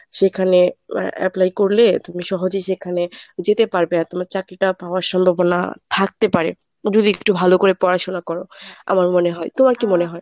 সেখানে apply করলে তুমি সহজেই সেখানে যেতে পারবে আর তোমার চাকরিটা পাওয়ার সম্ভাবনা থাকতে পারে, যদি একটু ভালো করে পড়াশোনা করো আমার মনে হয়। তোমার কি মনে হয়?